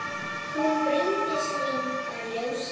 Hún Bryndís mín var ljósið.